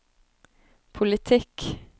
politikk